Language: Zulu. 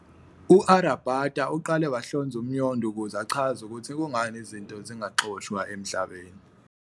u- Aryabhata uqale wahlonza Umnyondo ukuze achaze ukuthi kungani izinto zingaxoshwa eMhlabeni